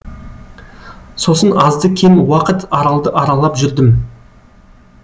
сосын азды кем уақыт аралды аралап жүрдім